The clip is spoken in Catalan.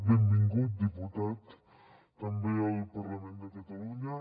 benvingut diputat també al parlament de catalunya